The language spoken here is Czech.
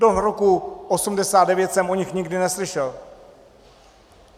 Do roku 1989 jsem o nich nikdy neslyšel.